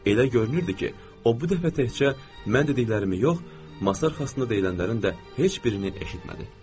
Elə görünürdü ki, o bu dəfə təkcə mən dediklərimi yox, masa arxasında deyilənlərin də heç birini eşitmədi.